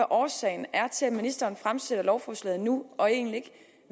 årsagen til at ministeren fremsætter lovforslaget nu og ikke